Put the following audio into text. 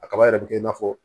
A kaba yɛrɛ bɛ kɛ i n'a fɔ